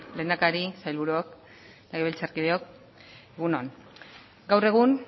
lehendakari sailburuok legebiltzarkideok egun on gaur egun